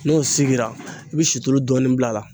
N'o sigira i bi situlu dɔɔnin bil'a la.